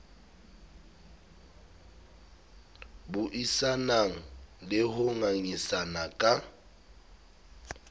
buisanang le ho ngangisana ka